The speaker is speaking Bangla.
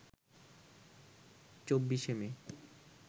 ২৪শে মে